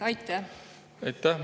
Aitäh!